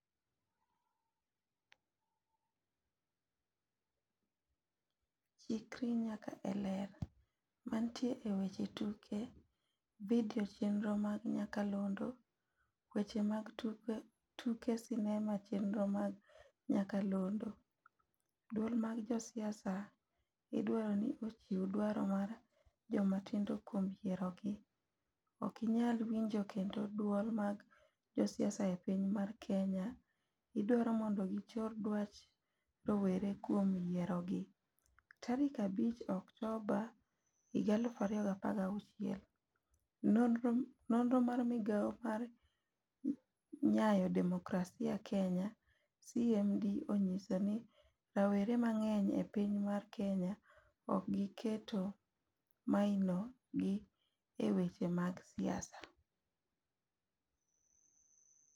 Chikri nyaka e Ler. Mantie e weche tuke. Video chenro mag nyakalondo. Weche mag tuke sinema chenro mag nyakalondo. Duol mag josiasa idwaro ni ochiw dwaro mar jomatindo kuom yiero gi. Ok inyal winjo kendo duol mag josiasa e piny mar Kenya idwaro mondo gi chor dwach rowere kuom yiero gi. Tarik 5 Oktoba 2016. Nonro mar migao mar nyayo demokrasia Kenya ,CMD, onyiso ni rawrer mang'eny e piny mar Kenya ok gi keto maino gi e weche mag siasa.